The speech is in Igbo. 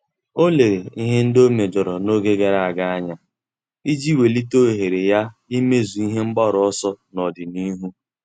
Ọ́ lérè ihe ndị ọ́ méjọ̀rọ̀ n’ógè gàrà ága anya iji wèlíté ohere ya ímézu ihe mgbaru ọsọ n’ọ́dị̀nihu.